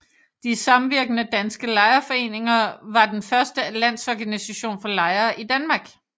De samvirkende danske Lejerforeninger var den første landsorganisation for lejere i Danmark